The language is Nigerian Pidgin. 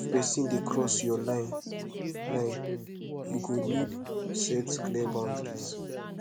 if pesin dey cross yur line line yu go nid set clear boundaries